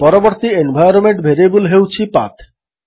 ପରବର୍ତ୍ତୀ environment variable ହେଉଛି path